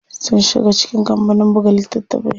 Sun shiga cikin kampanin buga littatafai.